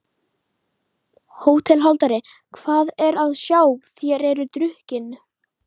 HÓTELHALDARI: Hvað er að sjá: þér eruð drukkin?